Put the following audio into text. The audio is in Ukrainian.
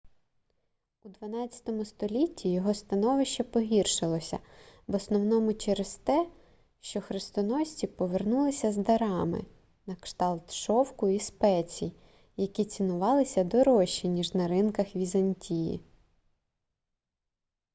у xii столітті його становище погіршилося в основному через те що хрестоносці повернулися з дарами на кшталт шовку і спецій які цінувалися дорожче ніж на ринках візантії